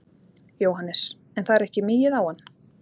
Jóhannes: En það er ekki migið á hann?